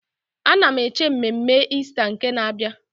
Ana m eche mmemme Ista nke na-abịa.